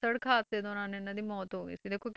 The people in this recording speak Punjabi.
ਸੜਕ ਹਾਦਸੇ ਦੌਰਾਨ ਇਹਨਾਂ ਦੀ ਮੌਤ ਹੋ ਗਈ ਸੀ ਦੇਖੋ,